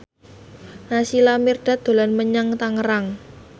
Naysila Mirdad dolan menyang Tangerang